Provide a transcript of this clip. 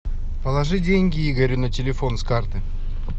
положи деньги игорю на телефон с карты